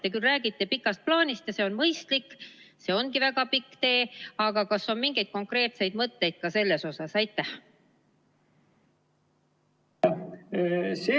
Te küll räägite pikast plaanist ja see on mõistlik, see ongi väga pikk tee, aga kas on mingeid konkreetseid mõtteid ka selles asjas?